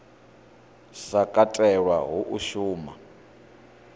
sa katelwa hu a shuma